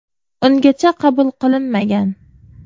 Ungacha qabul qilinmagan.